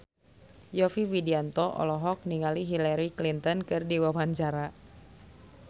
Yovie Widianto olohok ningali Hillary Clinton keur diwawancara